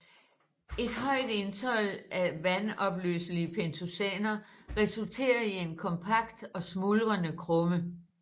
Et højt indhold af vanduopløselige pentosaner resulterer i en kompakt og smuldrende krumme